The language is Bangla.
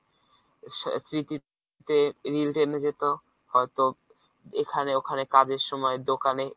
স্মৃতিতে টেনে যেত হয়তো এখানে ওখানে কাজের সময় দোকানে